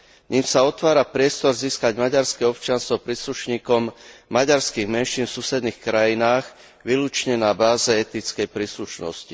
Ním sa otvára priestor získať maďarské občianstvo príslušníkom maďarských menšín v susedných krajinách výlučne na báze etnickej príslušnosti.